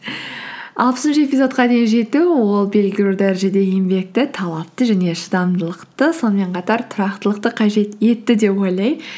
алпысыншы эпизодқа дейін жету ол белгілі бір дәрежеде еңбекті талапты және шыдамдылықты сонымен қатар тұрақтылықты қажет етті деп ойлаймын